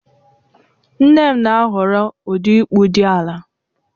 Nne m na-ahọrọ ụdị ịkpụ dị ala